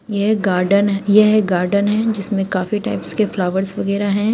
यह गार्डन यह एक गार्डन है जिसमें काफी टाइप्स के फ्लावर्स वगैरा हैं।